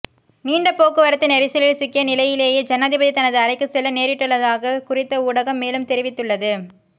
நீண்ட போக்குவரத்து நெரிசலில் சிக்கிய நிலையிலேயே ஜனாதிபதி தனது அறைக்கு செல்ல நேரிட்டுள்ளதாக குறித்த ஊடகம் மேலும் தெரிவித்துள்ளது